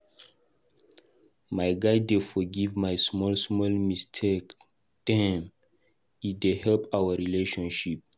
My guy dey forgive my small-small mistake dem, e dey help our relationship.